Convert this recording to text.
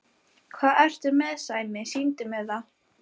Hvað ertu með Sæmi, sýndu mér það!